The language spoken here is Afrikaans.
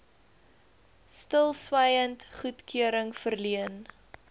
stilswyend goedkeuring verleen